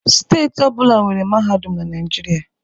Steeti ọ bụla nwere mahadum na Naịjirịa